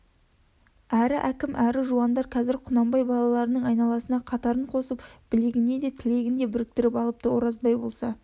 әрі әкім әрі жуандар қазір құнанбай балаларының айналасына қатарын қосып білегін де тілегін де біріктіріп алыпты оразбай болса